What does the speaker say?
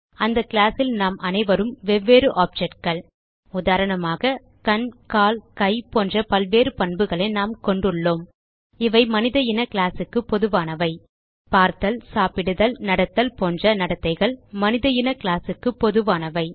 அந்த கிளாஸ் ல் நாம் அனைவரும் வெவ்வேறு objectகள் உதாரணமாக கண் கால் கை போன்ற பல்வேறு பண்புகளை நாம் கொண்டுள்ளோம் இவை மனித இன கிளாஸ் க்கு பொதுவானவை பார்த்தல் சாப்பிடுதல் நடத்தல் போன்ற நடத்தைகள் மனித இன கிளாஸ் க்கு பொதுவானவை